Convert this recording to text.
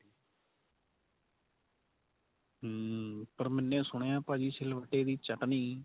am ਪਰ ਮੈਨੇ ਸੁਣਿਆ ਭਾਜੀ ਸਿਲਵੱਟੇ ਦੀ ਚਟਣੀ